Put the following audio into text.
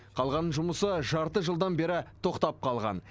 қалған жұмысы жарты жылдан бері тоқтап қалған